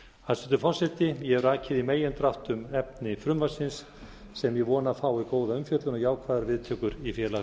hæstvirtur forseti ég hef rakið í megindráttum efni frumvarpsins sem ég vona að fái góða umfjöllun og jákvæðar viðtökur í